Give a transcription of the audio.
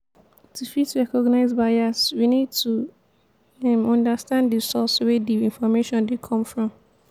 to fit recognize bias we need to um understand di source wey di information dey come from